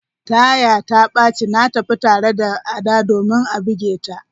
Taya ta baci, na tafi tare da Ada domin a buge ta.